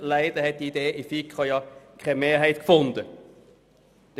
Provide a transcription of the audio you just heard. Leider fand die Idee keine Mehrheit in der FiKo.